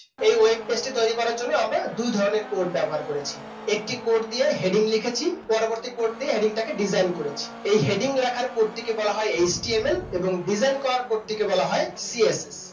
web page টা তৈরি করার জন্য আমরা দু ধরনের coding ব্যবহার করেছি একটি code দিয়ে heading লিখেছি পরবর্তী code দিয়ে heading টাকে design করেছি। এই heading লেখার code ডেকে বলা হয় html এই design করার code কে বলা হয় css